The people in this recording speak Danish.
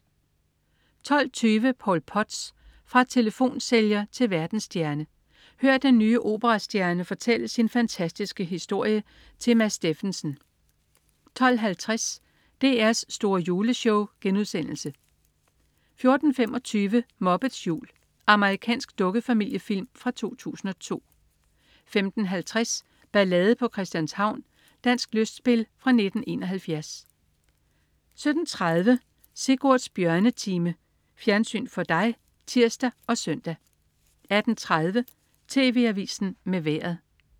12.20 Paul Potts. Fra telefonsælger til verdensstjerne. Hør den nye operastjerne fortælle sin fantastiske historie til Mads Steffensen 12.50 DR's store Juleshow* 14.25 Muppets jul. Amerikansk dukkefamiliefilm fra 2002 15.50 Ballade på Christianshavn. Dansk lystspil fra 1971 17.30 Sigurds Bjørnetime. Fjernsyn for dig (tirs og søn) 18.30 TV Avisen med Vejret